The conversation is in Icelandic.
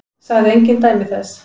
Sagði engin dæmi þess.